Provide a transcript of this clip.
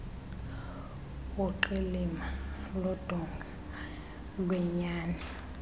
uqilima lodonga lwenyani